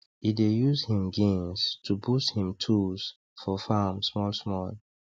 e dey use him gains to boost him tools for farm small small